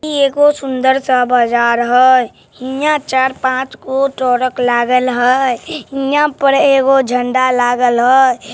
ई एगो सुंदर सा बाजार हैहियाँ चार पाँच गो टरक लागल हैय हियाँ पर एगो झण्डा लागल हैय।